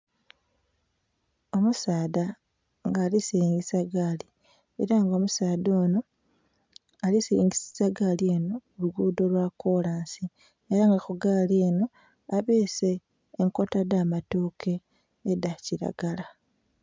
Omusaadha nga alisiringisa gaali era nga omusaadha onho alisiringisa egaali eno kulugudho lwakolansi era nga kugaali eno abeese enkota edhamatooke edhakiragala.